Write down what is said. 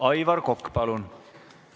Aivar Kokk, palun!